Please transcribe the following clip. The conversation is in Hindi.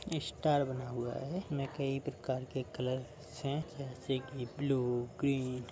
ये स्टार बना हुआ है। कई प्रकार के कलर है। जैसे कि ब्लू ग्रीन --